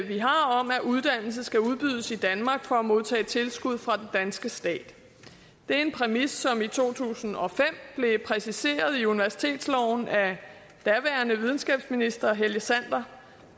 vi har om at uddannelse skal udbydes i danmark for at modtage tilskud fra den danske stat det er en præmis som i to tusind og fem blev præciseret i universitetsloven af daværende videnskabsminister helge sander